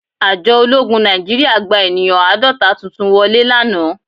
Àjọ ológun Nàìjíríà gba ènìyàn àádọ́ta tuntun wọlé lánàá